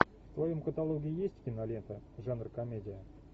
в твоем каталоге есть кинолента жанр комедия